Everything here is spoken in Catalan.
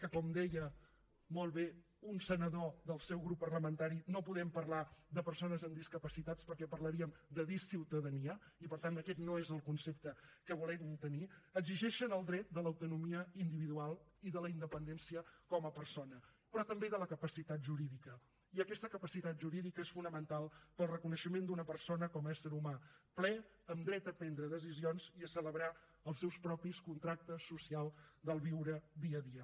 que com deia molt bé un senador del seu grup parlamentari no podem parlar de persones amb discapacitats perquè parlaríem de disciutadania i per tant aquest no és el concepte que volem tenir exigeixen el dret de l’autonomia individual i de la independència com a persona però també de la capacitat jurídica i aquest capacitat jurídica és fonamental pel reconeixement d’una persona com a ésser humà ple amb dret a prendre decisions i a celebrar els seus propis contractes socials de viure dia a dia